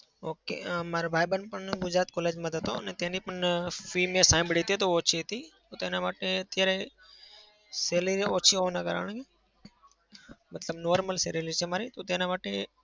okay અમ મારો ભાઈબંધ પણ ગુજરાત college માં જ હતો અને તેની પણ fee મેં સાંભળી હતી તો ઓછી હતી તો તેના માટે અત્યારે salary ઓછી હોવાને કારણે મતલબ normal salary છે મારે તો તેના માટે